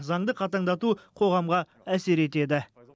заңды қатаңдату қоғамға әсер етеді